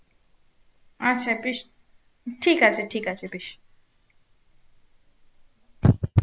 আচ্ছা বেশ ঠিক আছে ঠিক আছে বেশ।